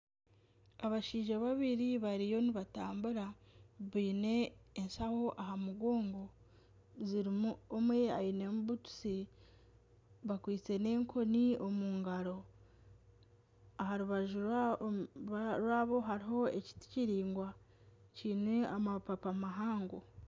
Abashaija babiri bariyo nibatambura, baine eshaho aha mugongo. omwe ainemu butusi. Bakwise n'enkoni omu ngaro. Aha rubaju rwabo hariho ekiti kiringwa kiine amapapa mahango.